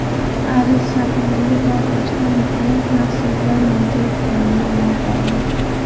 Aris shahridagi portlashlardan keyin, masjidlar mo‘jiza tufayli omon qoldi .